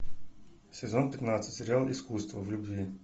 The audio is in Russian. сезон пятнадцать сериал искусство в любви